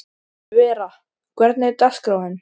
Vera, hvernig er dagskráin?